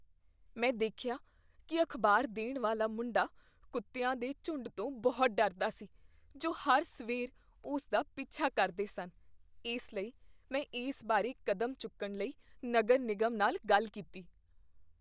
ਮੈਂ ਦੇਖਿਆ ਕੀ ਅਖ਼ਬਾਰ ਦੇਣ ਵਾਲਾ ਮੁੰਡਾ ਕੁੱਤਿਆਂ ਦੇ ਝੁੰਡ ਤੋਂ ਬਹੁਤ ਡਰਦਾ ਸੀ ਜੋ ਹਰ ਸਵੇਰ ਉਸ ਦਾ ਪਿੱਛਾ ਕਰਦੇ ਸਨ ਇਸ ਲਈ, ਮੈਂ ਇਸ ਬਾਰੇ ਕਦਮ ਚੁੱਕਣ ਲਈ ਨਗਰ ਨਿਗਮ ਨਾਲ ਗੱਲ ਕੀਤੀ